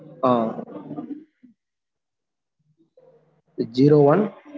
Han six zero one